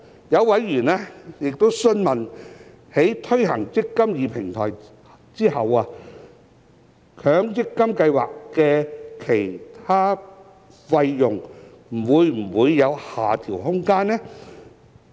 有委員詢問，在推行"積金易"平台後，強積金計劃的其他費用會否有下調空間。